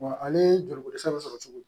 Wa ale joliko dɛsɛ bɛ sɔrɔ cogo di